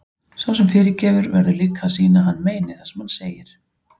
Sá sem fyrirgefur verður líka að sýna að hann meini það sem hann segir.